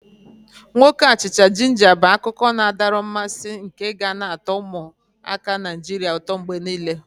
Nwoke achicha-jinja bu akụkọ na-adọrọ mmasị nke ga na atọ ụmụaka Naijiria ụtọ mgbe niile.